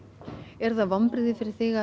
eru það vonbrigði fyrir þig að